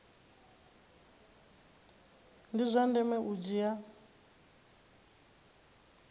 ndi zwa ndeme u dzhia